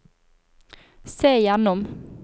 se gjennom